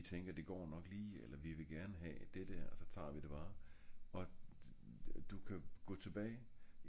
vi tænker det går nok lige eller vi vil gerne have det der også tager vi det bare og du ka gå tilbage